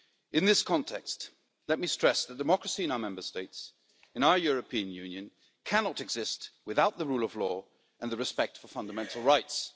In this context, let me stress that democracy in our Member States, in our European Union, cannot exist without the rule of law and respect for fundamental rights.